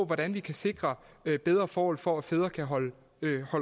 hvordan vi kan sikre bedre forhold for at fædre kan holde